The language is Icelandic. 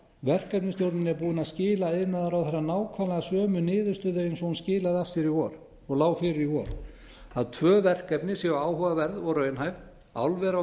verkefnisstjórnin er búin að skila iðnaðarráðherra nákvæmlega sömu niðurstöðu eins og hún skilaði af sér í vor og lá fyrir í vor að tvö verkefni séu áhugaverð og raunhæf álver á